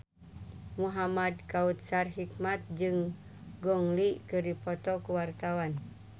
Muhamad Kautsar Hikmat jeung Gong Li keur dipoto ku wartawan